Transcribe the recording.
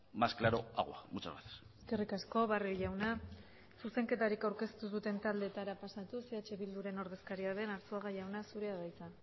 más claro agua muchas gracias eskerrik asko barrio jauna zuzenketarik aurkeztu ez duten taldetara pasatuz eh bilduren ordezkaria den arzuaga jauna zurea da hitza